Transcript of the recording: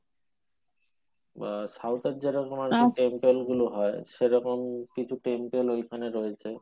বা south এর যে রকম temple গুলো হয় সেরকম কিছু temple ঐখানে রয়েছে